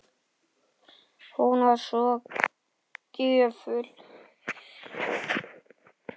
Hún var svo gjöful.